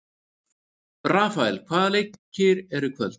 Rafael, hvaða leikir eru í kvöld?